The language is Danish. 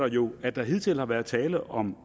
jo at der hidtil har været tale om